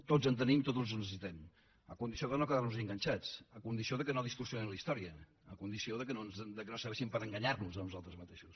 tots en tenim tots els necessitem a condició de no quedar nos hi enganxats a condició que no distorsionin la història a condició que no serveixin per a enganyar nos a nosaltres mateixos